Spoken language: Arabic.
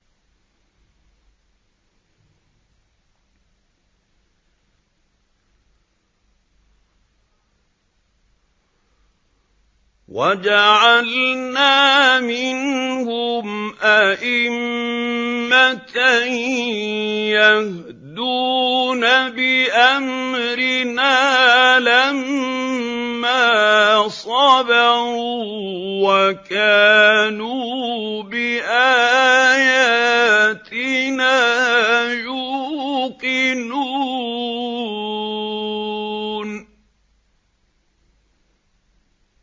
وَجَعَلْنَا مِنْهُمْ أَئِمَّةً يَهْدُونَ بِأَمْرِنَا لَمَّا صَبَرُوا ۖ وَكَانُوا بِآيَاتِنَا يُوقِنُونَ